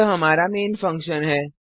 यह हमारा main function है